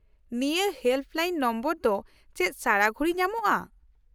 -ᱱᱤᱭᱟᱹ helpline number ᱫᱚ ᱪᱮᱫ ᱥᱟᱨᱟᱜᱷᱩᱲᱤ ᱧᱟᱢᱚᱜᱼᱟ ?